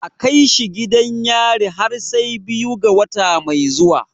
A kai shi gidan yari har sai biyu ga wata mai zuwa.